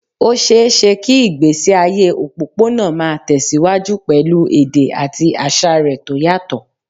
Ó ṣeé ṣe kí ìgbésí ayé òpópónà máa tẹ̀ síwájú pẹ̀lú èdè àti àṣà rẹ̀ tó yàtọ̀